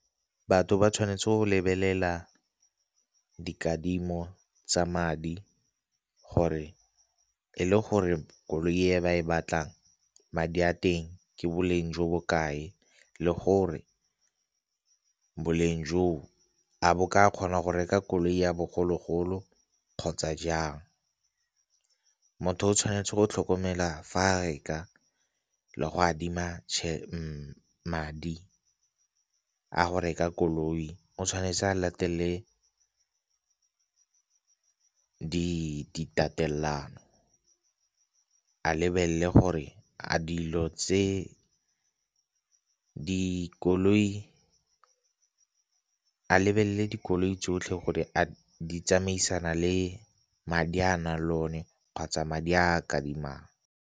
Batho ba tshwanetse go lebelela dikadimo tsa madi gore e le gore koloi e ba e batlang madi a teng ke boleng jo bo kae le gore boleng joo a bo ka kgona go reka koloi ya bogologolo kgotsa jang. Motho o tshwanetse go tlhokomela fa reka le go adima madi a go reka koloi, o tshwanetse a latele di tatelano. A lebelele dikoloi tsotlhe gore a di tsamaisana le madi a na le one kgotsa madi a kadimang.